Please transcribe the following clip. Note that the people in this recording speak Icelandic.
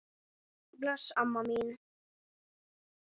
Bless amma mín.